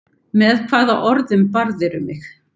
Með hvaða orðum barðirðu mig?